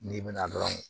N'i bɛna dɔrɔn